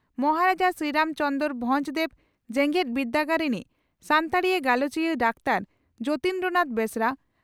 ᱢᱚᱦᱟᱨᱟᱡᱟ ᱥᱨᱤᱨᱟᱢ ᱪᱚᱸᱫᱽᱨᱚ ᱵᱷᱚᱸᱡᱽ ᱫᱮᱣ ᱡᱮᱜᱮᱛ ᱵᱤᱨᱫᱟᱹᱜᱟᱲ ᱨᱤᱱᱤᱡ ᱥᱟᱱᱛᱟᱲᱤ ᱜᱟᱞᱚᱪᱤᱭᱟᱹ ᱰᱟᱠᱛᱟᱨ ᱡᱚᱛᱤᱱᱫᱨᱚ ᱱᱟᱛᱷ ᱵᱮᱥᱨᱟ